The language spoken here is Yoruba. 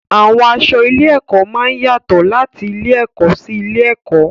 Àwọn aṣọ ilé-ẹ̀kọ́ máa ń yàtọ̀ láti ilé-ẹ̀kọ́ sí ilé-ẹ̀kọ́.